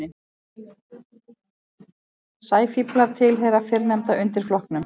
Sæfíflar tilheyra fyrrnefnda undirflokknum.